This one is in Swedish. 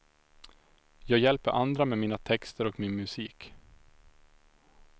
Jag hjälper andra med mina texter och min musik.